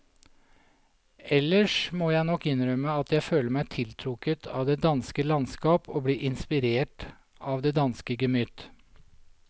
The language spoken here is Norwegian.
Ellers må jeg nok innrømme at jeg føler meg tiltrukket av det danske landskap og blir inspirert av det danske gemytt.